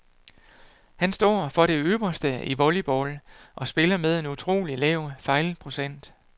Han står for det ypperste i volleyball og spiller med en utrolig lav fejlprocent.